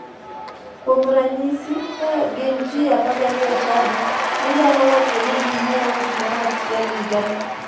Kuom ranyisi ka gin ji 12 e chadi, ginyalo wacho ni ginyiewo gimoro achiel higani.